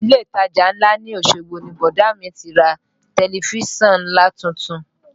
Ilé ìtajà ńlá ní Osogbo ni bọ̀dá mi ti ra tẹ̀lifísàn nlatuntun